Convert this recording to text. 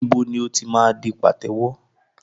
Níbo ni o ti máa di pàtẹ́wọ́?